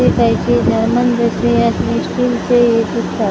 हि त्याची German bakery आहे स्टीलचे हे दिसतात अ --